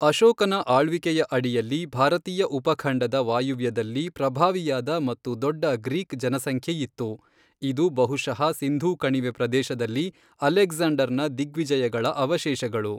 ಅಶೋಕನ ಆಳ್ವಿಕೆಯ ಅಡಿಯಲ್ಲಿ ಭಾರತೀಯ ಉಪಖಂಡದ ವಾಯುವ್ಯದಲ್ಲಿ ಪ್ರಭಾವಿಯಾದ ಮತ್ತು ದೊಡ್ಡ ಗ್ರೀಕ್ ಜನಸಂಖ್ಯೆಯಿತ್ತು, ಇದು ಬಹುಶಃ ಸಿಂಧೂ ಕಣಿವೆ ಪ್ರದೇಶದಲ್ಲಿ ಅಲೆಕ್ಸಾಂಡರ್ ನ ದಿಗ್ವಿಜಯಗಳ ಅವಶೇಷಗಳು.